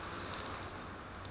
sera